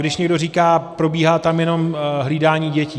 Když někdo říká, probíhá tam jenom hlídání dětí.